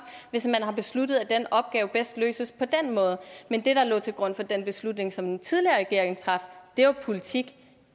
hvis man har besluttet at en opgave bedst løses på den måde men det der lå til grund for den beslutning som den tidligere regering traf var jo politik